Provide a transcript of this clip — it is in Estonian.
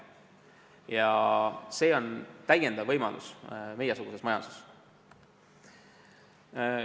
Ja see on meiesuguse majanduse korral lisavõimalus.